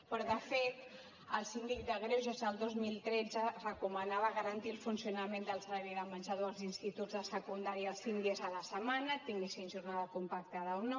però de fet el síndic de greuges el dos mil tretze recomanava garantir el funcionament del servei de menjador als instituts de secundària els cinc dies a la setmana tinguessin jornada compactada o no